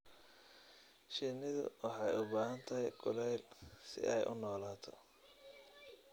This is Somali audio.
Shinnidu waxay u baahan tahay kulayl si ay u noolaato.